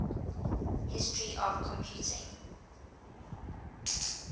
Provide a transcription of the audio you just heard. history of computing